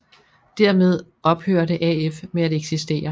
Dermed ophørte AF med at eksistere